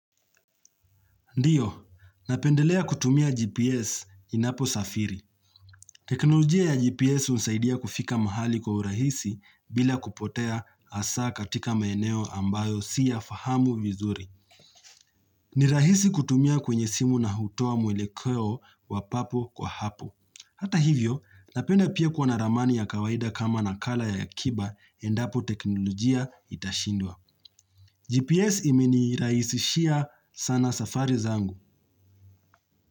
Ndiyo, napendelea kutumia GPS ninapo safiri. Teknolojia ya GPS husaidia kufika mahali kwa urahisi bila kupotea asa katika maeneo ambayo siya fahamu vizuri. Ni rahisi kutumia kwenye simu na hutoa mwelekeo wapapo kwa hapo. Hata hivyo, napende pia kuwa naramani ya kawaida kama nakala ya akiba endapo teknolojia itashindwa. GPS imeni iraisishia sana safari zangu.